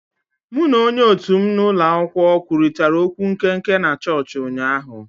Mụ na onye òtù m na ulo akwukwo kwurịtara okwu nkenke na chọọchị ụnyaahụ